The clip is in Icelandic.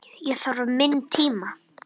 Ég þarf minn tíma.